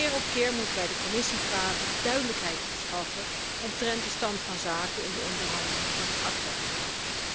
Keer op keer moeten wij de Commissie vragen duidelijkheid te verschaffen omtrent de stand van zaken in de onderhandelingen over het ACTA verdrag.